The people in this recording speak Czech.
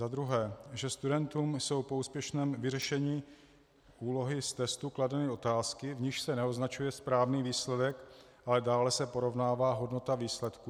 Za druhé, že studentům jsou po úspěšném vyřešení úlohy z testu kladeny otázky, v nichž se neoznačuje správný výsledek, ale dále se porovnává hodnota výsledku?